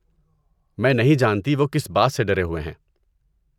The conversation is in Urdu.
میں نہیں جانتی وہ کس بات سے ڈرے ہوئے ہیں۔